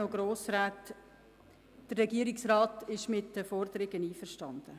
Der Regierungsrat ist mit den Forderungen einverstanden.